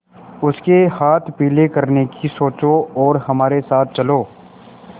उसके हाथ पीले करने की सोचो और हमारे साथ चलो